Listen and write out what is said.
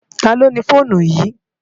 Táló ni fónú yi?